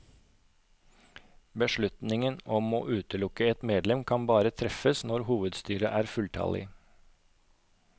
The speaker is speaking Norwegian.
Beslutningen om å utelukke et medlem kan bare treffes når hovedstyret er fulltallig.